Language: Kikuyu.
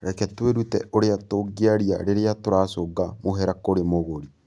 Reke twĩrute ũrĩa tũngĩaria rĩrĩa tũracũnga mũhera kũrĩ mũgũri.